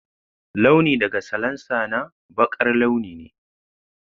Launi daga salansa na baƙar launi ne.